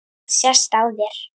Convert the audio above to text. Það sést á þér